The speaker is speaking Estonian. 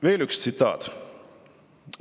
Veel üks tsitaat.